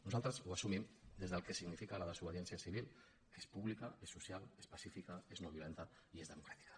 nosaltres ho assumim des del que significa la desobediència civil que és pública és social és pacífica és noviolenta i és democràtica